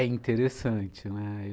É interessante, né?